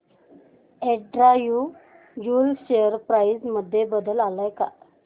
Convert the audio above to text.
Andrew Yule share price मध्ये बदल आलाय का